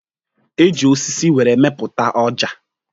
E ji osisi were mepụta Ọja.